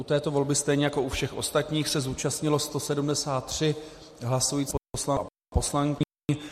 U této volby stejně jako u všech ostatních se zúčastnilo 173 hlasujících poslanců a poslankyň.